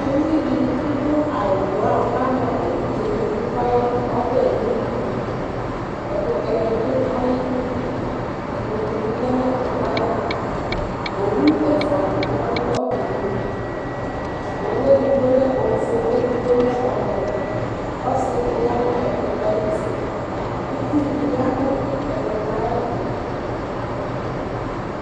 Uvi dɩ adʋ awʋbraɔn kʋ ama evidze nʋ idu kʋ ɔya nʋ ɔbɛ lili dɩ li Ɛkʋtɛ dɩ dʋ ayidu Ikpoku dɩ lɛ nʋ ɛkʋtɛ yɛ ayɛtʋ Owu ɛfʋa dɩ ya nʋ ɔbɛ yɛ li Owu edigbo lɛ ofue kʋ edigbo lɛ ɔwɛ Ɔsɩ dɩ ya nʋ ɛkʋtɛ yɛ ayuti Itsu dɩ ya nʋ ɛkʋtɛ yɛ ayɛtʋ